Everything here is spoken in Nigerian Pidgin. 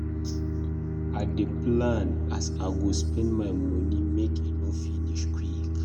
I dey plan as I go spend my money make e no finish quick.